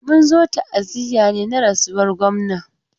Mun zo ta'aziya ne na rasuwan gwamna.